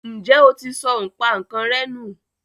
ǹjẹ́ o ti sọ ipànǹkanrẹ́ nù?